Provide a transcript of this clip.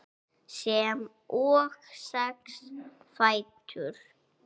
sem og sex fætur.